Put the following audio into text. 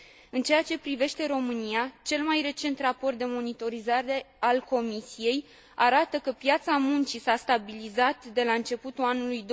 În aceea ce privește România, cel mai recent raport de monitorizare al Comisiei arată că piața muncii s a stabilizat de la începutul anului